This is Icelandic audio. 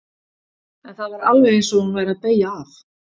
En það var alveg eins og hún væri að beygja af.